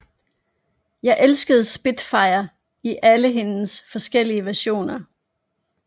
Jeg elskede Spitfire i alle hendes forskellige versioner